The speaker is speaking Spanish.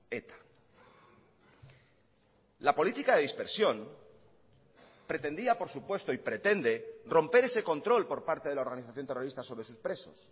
eta la política de dispersión pretendía por supuesto y pretende romper ese control por parte de la organización terrorista sobre sus presos